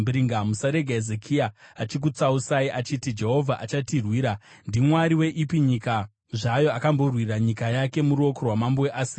“Musarega Hezekia achikutsausai achiti, ‘Jehovha achatirwira.’ Ndimwari weipi nyika zvayo akamborwira nyika yake muruoko rwamambo weAsiria?